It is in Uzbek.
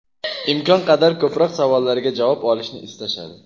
imkon qadar ko‘proq savollariga javob olishni istashadi.